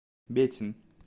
бетин